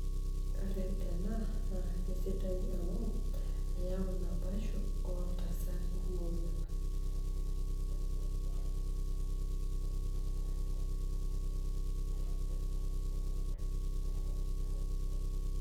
Ore ena naa aisidai amu eyau naboisho oo iltasati moruak.